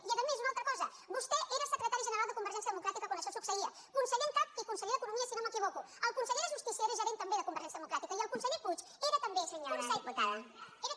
i a més una altra cosa vostè era secretari general de convergència democràtica quan això succeïa conse·ller en cap i conseller d’economia si no m’equivoco el conseller de justícia era gerent també de conver·gència democràtica i el conseller puig era també